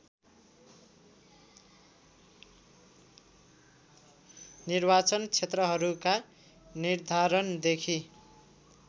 निर्वाचन क्षेत्रहरूका निर्धारणदेखि